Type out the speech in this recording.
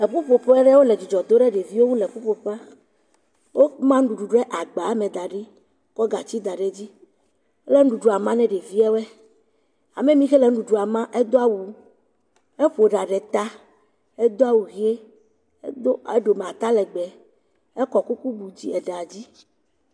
Eƒuƒe aɖe wo le edzidzɔ dom ɖe ɖeviwo ŋu le eƒuƒoƒe. Woma nuɖuɖu ɖe agba me da ɖi kɔ gatsi da ɖe dzi. Wole nuɖuɖua ma ne ɖeviawo. Ame mi xe le nuɖuɖua me edo awu, heƒo ɖa ɖe ta, edo awu ʋie, edo eɖome atalegbe ekɔ kuku bu aɖea dzi.